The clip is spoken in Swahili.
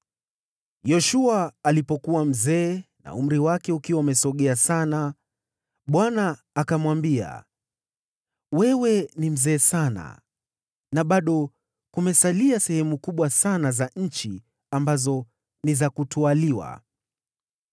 Yoshua alipokuwa mzee na umri wake ukiwa umesogea sana, Bwana akamwambia, “Wewe ni mzee sana, na bado kumesalia sehemu kubwa sana za nchi ambazo ni za kutwaliwa.